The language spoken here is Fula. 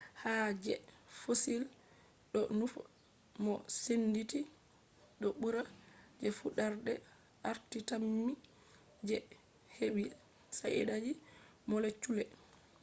hado je fossil do nufa mo senditi do bura je fudarde arti tammi je hebi shaidaji molecule